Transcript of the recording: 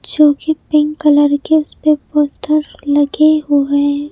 जो की pink colour के उस पे पोस्टर लगे हुए--